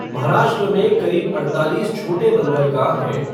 महाराष्ट्र में करीब अड़तालीस छोटे बंदरगाह हैं।